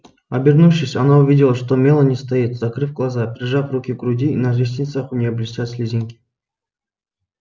обернувшись она увидела что мелани стоит закрыв глаза прижав руки к груди и на ресницах у нее блестят слезинки